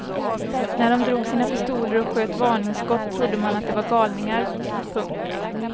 När de drog sina pistoler och sköt varningsskott trodde man att de var galningar. punkt